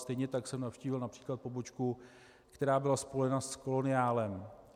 Stejně tak jsem navštívil například pobočku, která byla spojena s koloniálem.